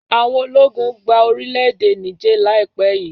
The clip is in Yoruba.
Àwọn ológun gba N orílẹ̀-èdè Niger laipẹ yìí.